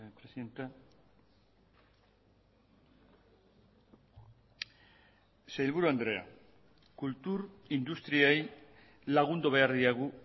presidenta sailburu andrea kultur industriei lagundu behar diegu